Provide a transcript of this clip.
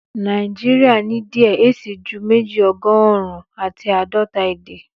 Nàìjíríà ní díẹ̀ ẹ síi ju méjì ọgọ́rùn-ún àti àádọ́ta èdè